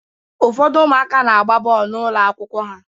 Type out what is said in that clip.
Ụfọdụ ụmụaka na-agba bọọlụ n'ụlọ akwụkwọ ha